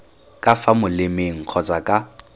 ka fa molemeng kgotsa ka